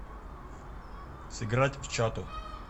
сыграть в чато